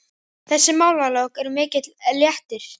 Þessi málalok eru mikill léttir.